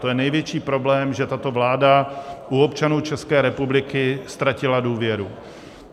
To je největší problém, že tato vláda u občanů České republiky ztratila důvěru.